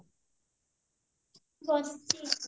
ବସିଛି